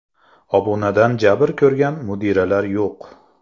Obunadan jabr ko‘rgan mudiralar yo‘q.